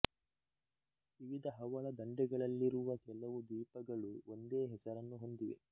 ವಿವಿಧ ಹವಳ ದಂಡೆಗಳಲ್ಲಿರುವ ಕೆಲವು ದ್ವೀಪಗಳು ಒಂದೇ ಹೆಸರನ್ನು ಹೊಂದಿವೆ